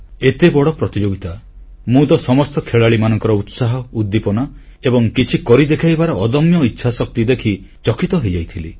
ଏତେ ବଡ଼ ପ୍ରତିଯୋଗିତା ମୁଁ ତ ସମସ୍ତ ଖେଳାଳିମାନଙ୍କର ଉତ୍ସାହ ଉଦ୍ଦୀପନା ଏବଂ କିଛି କରି ଦେଖାଇବାର ଅଦମ୍ୟ ଇଚ୍ଛାଶକ୍ତି ଦେଖି ଚକିତ ହୋଇଯାଇଥିଲି